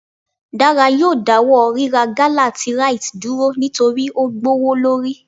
Dara yóò dawọ rirá gala tí Rite dúrò nitori o gbowolori.